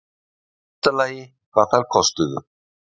Í fyrsta lagi hvað þær kostuðu